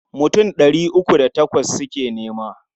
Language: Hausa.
Mutum ɗari uku da takwas suke nema.